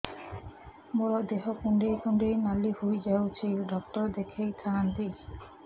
ମୋର ଦେହ କୁଣ୍ଡେଇ କୁଣ୍ଡେଇ ନାଲି ହୋଇଯାଉଛି ଡକ୍ଟର ଦେଖାଇ ଥାଆନ୍ତି